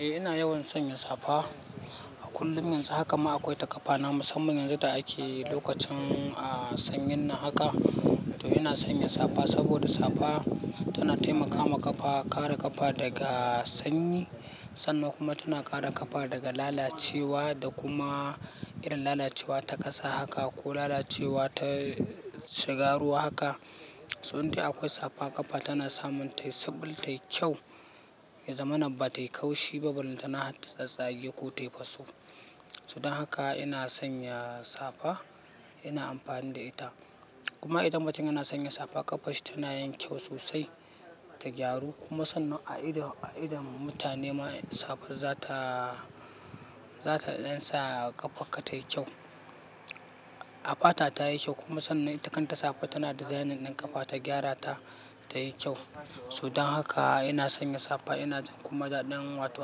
Eh ina yawan sanya safa. A kullum yanzu haka ma akwai ta ƙafa na musamman yanzu da ake lokacin, a, sanyin nan haka. To ina sanyin safa saboda safa tana taimakama ƙafa, kare ƙafa daga sanyi sannan kuma tana kare ƙafa daga lalacewa da kuma irin lalacewa ta kasa haka ko lalacewa ta shiga ruwa haka. So in dai akwai safa ƙafa tana samun tayi suɓul tayi kyau, ya zamana ba tayi kaushi ba, ballantana har ta tsatsage ko tayi faso. So dan haka ina sanya safa, ina amfani da ita. Kuma idan mutum yana sanya safa ƙafar shi tana yin kyau sosai ta gyaru kuma sannan a idon, a idon mutane ma safar za ta, za ta ɗan sa ƙafarka tayi kyau. A fata tayi kyau kuma sannan ita kanta safan tana designing ɗin ƙafa ta gyara ta, tayi kyau. So dan haka ina sanya safa ina jin kuma daɗin wato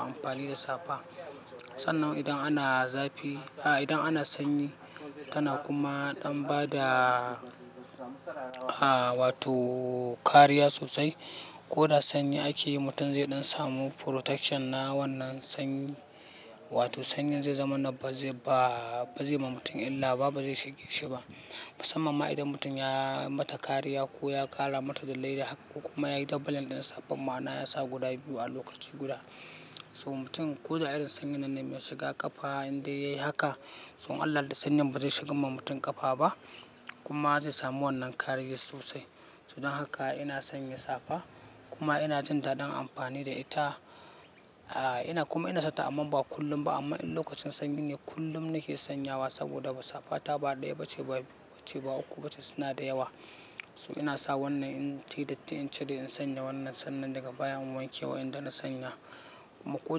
amfani da safa. Sannan idan ana zafi, a, idan ana sanyi tana kuma ɗan bada, a, wato kariya sosai. Ko da sanyi ake yi mutum zai ɗan samu protection na wannan sanyi. Wato sanyin zai zama na ba zai ba, ba zai ma mutum illa ba, ba zai shige shi ba. Musamman ma idan mutum ya mata kariya ko ya kara mata da leda ko kuma yayi double ɗin safa ma'ana ya sa guda biyu a lokaci guda. So mutum ko da irin sanyin nan ne mai shiga ƙafa in dai yayi haka, So in Allah Ya yadda sanyin ba zai shigan ma mutum ƙafa ba kuma zai samu wannan kariyar sosai. So dan haka ina sanya safa kuma ina jin daɗin amfani da ita. A, ina kuma ina sata amma ba kullum ba amma in lokacin sanyi ne kullum nake sanyawa saboda safa ta ba ɗaya ba ce ba biyu ba ce ba uku ba ce suna da yawa. So ina sa wannan in tayi datti in cire in sanya wannan sannan daga baya in wanke wa'inda na sanya kuma ko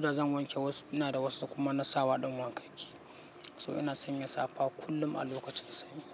da zan wanke wasu ina da wasu kuma na sawa ɗin wankakke. So ina sanya safa kullum a lokacin sanyi.